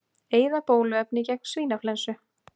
Eyða bóluefni gegn svínaflensu